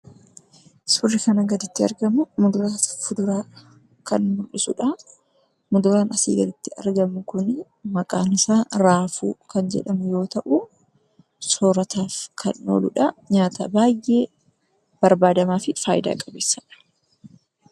Suurri kana gaditti argamu muduraaf fuduraa kan mul'isudha. Muduraan asii gaditti argamu kuni maqaan isaa raafuu kan jedhamu yammuu ta'u, sorataaf kan ooludha. Nyaata baay'ee barbaadamaafi faayidaa qabeessaadha.